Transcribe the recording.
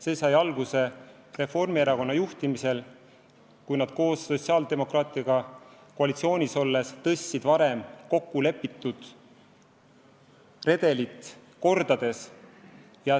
See sai alguse Reformierakonna juhtimisel: sotsiaaldemokraatidega koalitsioonis olles tõstis ta varem kokku lepitud redelit rikkudes aktsiisi kordades.